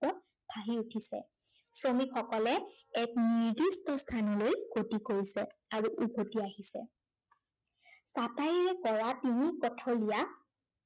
ফুটি উঠিছে। শ্ৰমিকসকলে এক নিৰ্দিষ্ট স্থানলৈ গতি কৰিছে আৰু উভটি আহিছে। চাটাইৰে পৰা তিনি পথৰীয়া